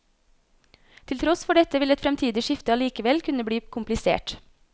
Til tross for dette vil et fremtidig skifte allikevel kunne bli komplisert.